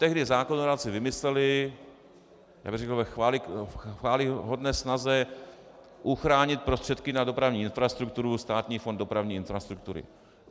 Tehdy zákonodárci vymysleli, já bych řekl ve chvályhodné snaze uchránit prostředky na dopravní infrastrukturu, Státní fond dopravní infrastruktury.